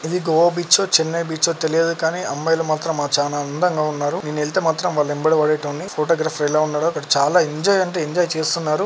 ఇది గోవా బీచ్ ఓ చెన్నై బీచ్ ఓ తెలియదు కాని అమ్మాయిలు మాత్రం అ చానా అందంగా ఉన్నారు నేనెళ్తె మాత్రం వాళ్ళెంబడి వడెటోన్ని ఫొటోగ్రాఫర్ ఎలా ఉన్నాడో అక్కడ చాలా ఎంజాయ్ అంటే ఎంజాయ్ చేస్తున్నారు.